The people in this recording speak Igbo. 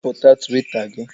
Wepụ Twita gị!